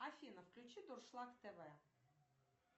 афина включи дуршлаг тв